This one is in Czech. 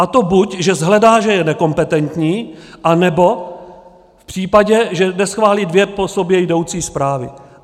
A to buď že shledá, že je nekompetentní, anebo v případě, že neschválí dvě po sobě jdoucí zprávy.